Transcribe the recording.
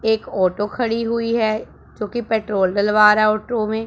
एक ऑटो खड़ी हुई है जो कि पेट्रोल डलवा रहा ऑटो में।